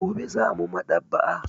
Gobe za mu Maɗ'aba'a.